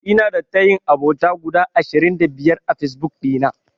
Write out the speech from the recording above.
Ina da tayin abota guda ashirin da biyar a Fesbuk ɗina.